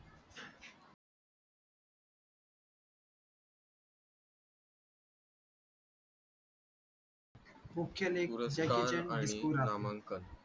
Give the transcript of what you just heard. मुख्य लेख jackie chan आणि